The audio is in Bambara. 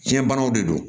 Biyɛnbanaw de don